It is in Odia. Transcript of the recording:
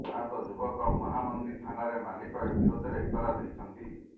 ଆହତ ଯୁବକ ମହାମନ୍ଦି ଥାନାରେ ମାଲିକ ବିରୋଧରେ ଏତଲା ଦେଇଛନ୍ତି